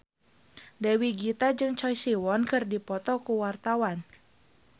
Dewi Gita jeung Choi Siwon keur dipoto ku wartawan